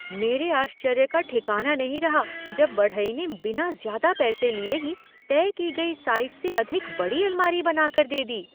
मेरे आश्चर्य का ठिकाना नहीं रहा जब बढ़ई ने बिना ज्यादा पैसा लिए ही तय की गई साइज से अधिक बड़ी अलमारी बना कर दे दी।